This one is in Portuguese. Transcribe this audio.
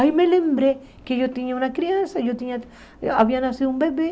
Aí me lembrei que eu tinha uma criança, e eu tinha havia nascido um bebê.